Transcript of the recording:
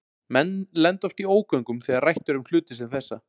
Menn lenda oft í ógöngum þegar rætt er um hluti sem þessa.